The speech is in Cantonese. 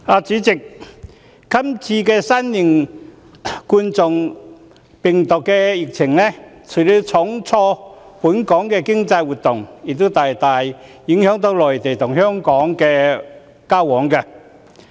主席，這次新型冠狀病毒的疫情，除了重挫本港經濟活動外，亦大大影響內地和香港的交往。